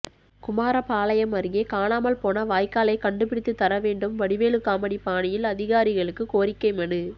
குமாரபாளையம் அருகே காணாமல் போன வாய்க்காலை கண்டு பிடித்து தரவேண்டும் வடிவேலு காமெடி பாணியில் அதிகாரிகளுக்கு கோரிக்கை மனு